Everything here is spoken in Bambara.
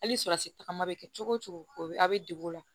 Hali tagama bɛ kɛ cogo cogo o bɛ a' bɛ degu o la